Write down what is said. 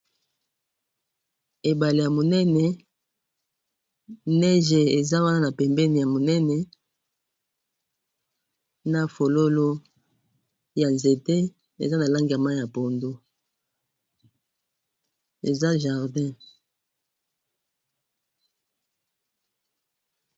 ebale ya monene eza wana na pembeni, ya monene na fololo ya nzete eza na langi ya mai ya pondu eza na jardin.